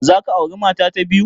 Za ka aure mata ta biyu?